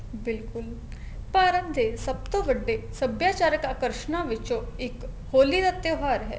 ਬਿਲਕੁਲ ਭਾਰਤ ਦੇ ਸਭ ਤੋਂ ਵੱਡੇ ਸੱਭਿਆਚਾਰਕ ਅਕ੍ਰ੍ਸ਼ਨਾ ਵਿਚੋ ਇੱਕ ਹੋਲੀ ਦਾ ਤਿਉਹਾਰ ਹੈ